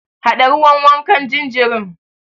Haɗa ruwan wankan jinjirin.